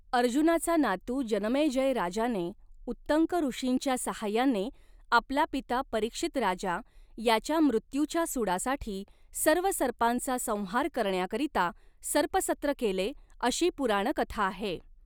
अर्जुनाचा नातू जनमेजय राजाने उत्तंकऋषींच्या साहाय्याने आपला पिता परीक्षितराजा याच्या मृत्यूच्या सूडासाठी सर्व सर्पांचा संहार करण्याकरीता सर्पसत्र केले अशी पुराणकथा आहे.